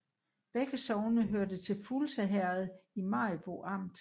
Begge sogne hørte til Fuglse Herred i Maribo Amt